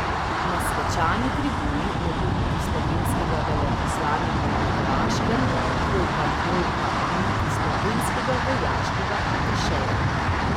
Na svečani tribuni ne bo niti slovenskega veleposlanika na Hrvaškem Vojka Volka niti slovenskega vojaškega atašeja.